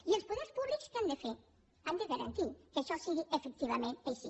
i els poders públics què han de fer han de garantir que això sigui efectivament ai·xí